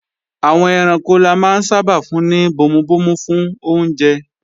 Àwọn ẹranko la máa ń sábà fún ní bomubomu fún oúnjẹ